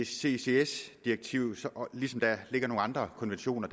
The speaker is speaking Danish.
ccs direktivet ligesom der ligger nogle andre konventioner